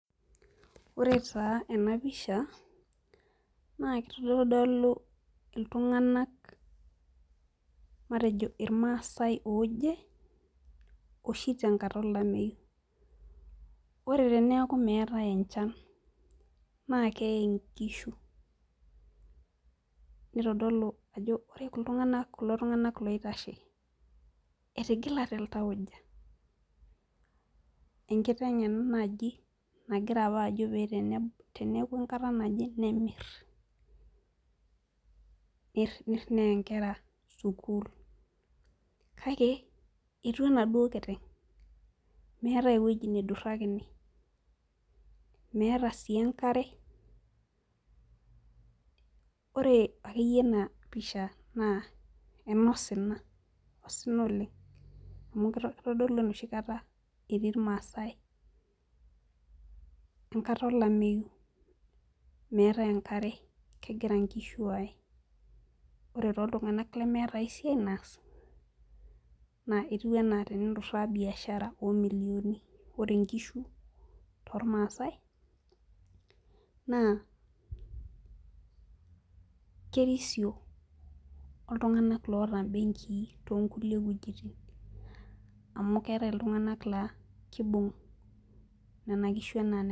Ore taa ena pisha naa kitodolu iltunganak matejo ilmaasae ooje oshi tenkata olameyu. ore teneeku meetae enchan naa keye nkishu, nitodolu ajo ore kulo tunganak loitashe etigilate iltauja. enkiteng' ena naaji nagira apa ajo pee teneeku enkata naje nemir, pee isumare nkera. kake etua enaduoo kiteng'.meetae ewueji neidurakini. meeta sii enkare. ore akeyie enapa pisha naa Eno Sina. osina oleng. amu kitodolu enoshi kata etii irmaasae, enkata olameyu. meetae enkare, kegira nkishu aae. ore tooltunganak lemeeta ae siai Nas naa etiu anaa teninturaa biashara amu ore nkishu toolmaasae naa kerisio oltunganak loota mbenkii too nkulie wuejitin. amu keetae iltunganak laa ekibung' Nena kishu anaa.